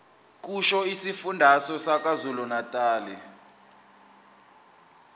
kusho isifundazwe sakwazulunatali